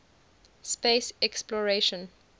space exploration